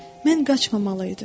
Mən qaçmamalıydım.